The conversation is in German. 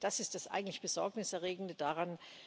Das ist das eigentlich Besorgnis erregende daran.